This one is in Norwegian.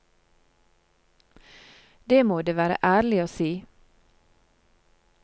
Det må det være ærlig å si.